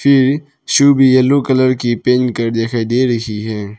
ये शू भी yellow colour की पहन कर दिखाई दे रही है।